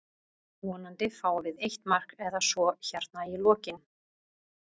Vonandi fáum við eitt mark eða svo hérna í lokinn.